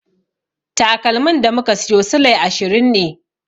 Takalmin da muka siyo silai ashirin ne.